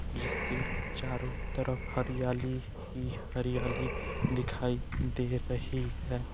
जिसके चारों तरफ हरियाली ही हरियाली दिखाई दे रही है।